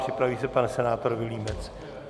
Připraví se pan senátor Vilímec.